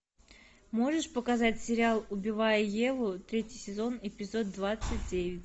можешь показать сериал убивая еву третий сезон эпизод двадцать девять